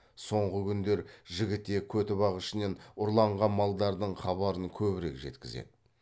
соңғы күндер жігітек көтібақ ішінен ұрланған малдардың хабарын көбірек жеткізеді